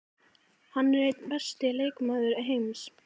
Hann er einn besti leikmaður heims.